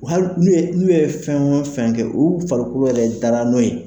Hali n'u ye n'u ye fɛn o fɛn kɛ u farikolo yɛrɛ dara n'o ye